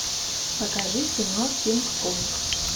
покажи кино кинг конг